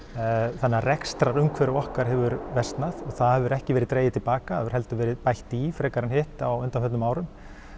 þannig að rekstrarumhverfi okkar hefur versnað og það hefur ekki verið dregið til baka heldur verið bætt í frekar en hitt á undanförnum árum